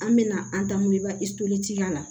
An bɛna an daminɛ la